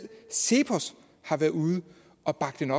cepos været ude og bakke